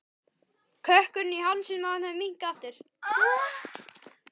Kökkurinn í hálsinum á henni hafði minnkað aftur.